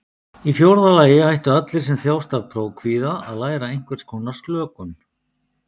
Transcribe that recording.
Í fjórða lagi ættu allir sem þjást af prófkvíða að læra einhvers konar slökun.